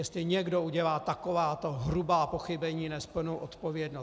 jestli někdo udělá takováto hrubá pochybení, nést plnou odpovědnost.